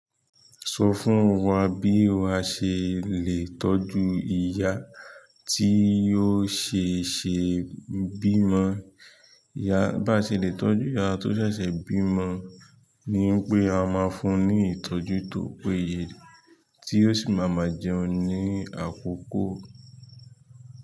Sọ fún wa bí a ṣe le tọ́jú ìyá tí ó ṣe ṣe bímọ. Bá ṣe lè tọ́jú ìyá tó ṣẹ̀ṣẹ̀ bímọ ni pé a máa fún ní ìtọ́jú tòpéye tí ó sì máa ma jẹun ní àkókò.